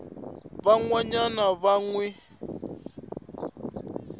van wana va n wi